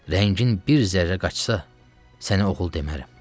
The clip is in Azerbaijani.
Rəngin bir zərrə qaçsa, səni oğul demərəm.